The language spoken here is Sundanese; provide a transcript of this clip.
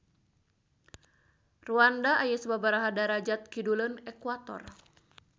Rwanda aya sababaraha derajat kiduleun ekuator